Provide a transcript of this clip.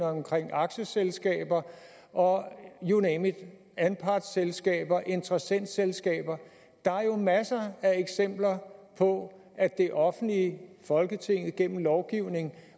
omkring aktieselskaber og you name it anpartsselskaber interessentselskaber der er jo masser af eksempler på at det offentlige folketinget gennem lovgivning